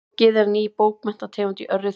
Bloggið er ný bókmenntategund í örri þróun.